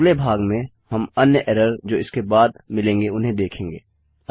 अगले भाग में हम अन्य एरर जो इसके बाद मिलेंगे उन्हें देखेंगे